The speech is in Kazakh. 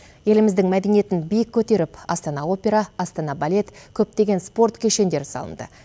еліміздің мәдениетін биік көтеріп астана опера астана балет көптеген спорт кешендері салынды